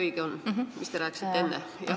Kas see, mis te rääkisite enne?